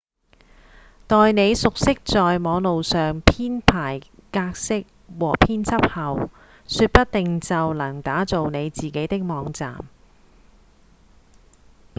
待你熟悉在網路上編排格式和編輯後說不定就能打造你自己的網站